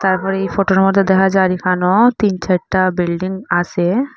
তারপরে এই ফটোর মধ্যে দেখা যার এখানেও তিন চারটা বিল্ডিং আসে ।